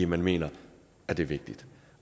man mener det er vigtigt